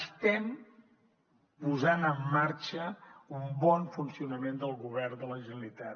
estem posant en marxa un bon funcionament del govern de la generalitat